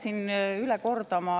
Aitäh!